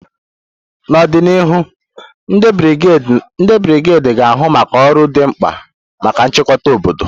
N'ọdịnihu, ndị brigedi ga-ahụ maka ọrụ dị mkpa maka nchekwa obodo.